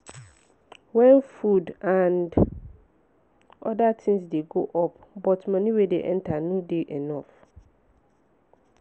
when food and oda things dey go up but money wey dey enter no dey enough